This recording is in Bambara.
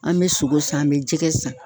An bɛ sogo san, an bɛ jɛgɛ san.